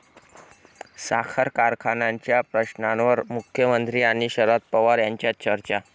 साखर कारखान्यांच्या प्रश्नांवर मुख्यमंत्री आणि शरद पवार यांच्यात चर्चा